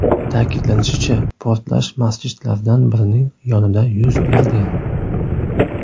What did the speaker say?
Ta’kidlanishicha, portlash masjidlardan birining yonida yuz bergan.